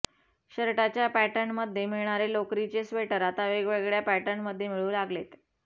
शर्टाच्या पॅटर्नमध्ये मिळणारे लोकरीचे स्वेटर आता वेगवेगळय़ा पॅटर्नमध्ये मिळू लागलेत